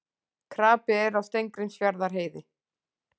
Krapi er á Steingrímsfjarðarheiði